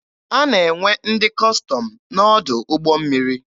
A na-enwe ndị Kọstọm n'ọdụ ụgbọ mmiri.